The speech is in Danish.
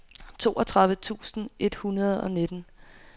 toogtredive tusind et hundrede og nitten